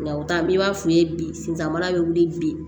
Nka o ta n'i b'a f'i ye bi sentanbana bɛ wuli bi